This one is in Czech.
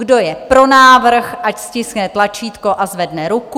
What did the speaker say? Kdo je pro návrh, ať stiskne tlačítko a zvedne ruku.